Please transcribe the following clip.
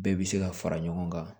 Bɛɛ bɛ se ka fara ɲɔgɔn kan